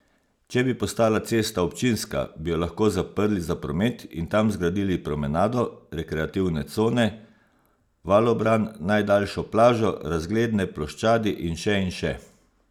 Če bi postala cesta občinska, bi jo lahko zaprli za promet in tam zgradili promenado, rekreativne cone, valobran, najdaljšo plažo, razgledne ploščadi in še in še.